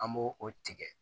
An b'o o tigɛ